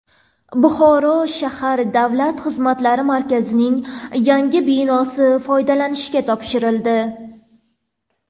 Buxoro shahar Davlat xizmatlari markazining yangi binosi foydalanishga topshirildi.